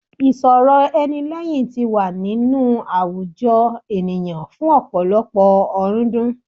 Ìsọ̀rọ̀ ẹni lẹ́hìn ti wà ní inú àwùjọ ènìyàn fún ọ̀pọ̀lọpọ̀ ọ̀rúndún.